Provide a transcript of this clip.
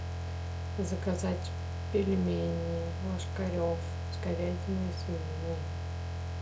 заказать пельмени ложкарев с говядиной и свининой